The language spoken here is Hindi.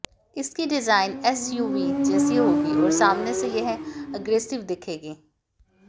इसकी डिजाइन एसयूवी जैसी होगी और सामने से यह अग्रेसिव दिखेगी